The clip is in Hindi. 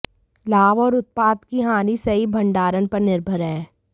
लाभ और उत्पाद की हानि सही भंडारण पर निर्भर हैं